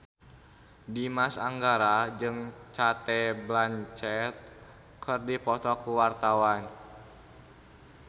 Dimas Anggara jeung Cate Blanchett keur dipoto ku wartawan